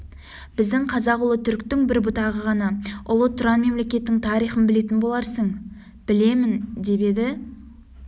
біздің қазақ ұлы түріктің бір бұтағы ғана ұлы тұран мемлекетінің тарихын білетін боларсың білемін деп еді